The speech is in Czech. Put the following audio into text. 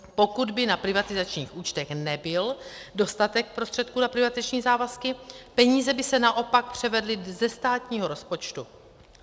Pokud by na privatizačních účtech nebyl dostatek prostředků na privatizační závazky, peníze by se naopak převedly ze státního rozpočtu.